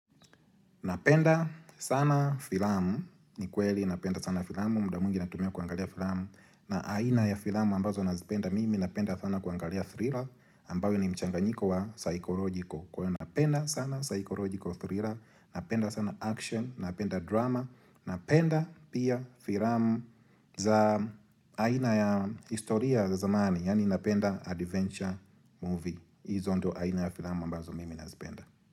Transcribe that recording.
Napenda sana filamu. Ni kweli napenda sana filamu. Muda mwingi natumia kuangalia filamu. Na aina ya filamu ambazo nazipenda mimi napenda sana kuangalia thriller ambayo ni mchanganyiko wa psychological. Kuwa napenda sana psychological thriller. Napenda sana action. Napenda drama. Napenda pia filamu za aina ya historia za zamani. Yani napenda adventure movie. Hizo ndo aina ya filamu ambazo mimi nazipenda.